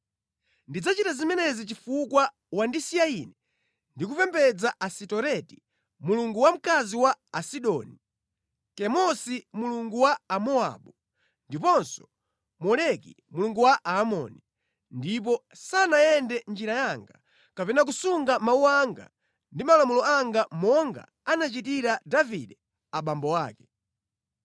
Ndidzachita zimenezi chifukwa wandisiya Ine ndi kupembedza Asitoreti mulungu wamkazi wa Asidoni, Kemosi mulungu wa Amowabu ndiponso Moleki mulungu wa Aamoni, ndipo sanayende mʼnjira yanga, kapena kusunga mawu anga ndi malamulo anga monga anachitira Davide abambo ake.